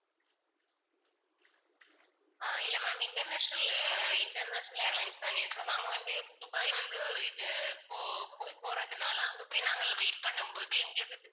அஹ் இல்ல ma'am international அஹ் international airlines தானே so நாங்க வந்து துபாய் வந்து இது போ~போய் போறதுனால அங்க போய் நாங்க wait பண்ணும் போது எங்களுக்கு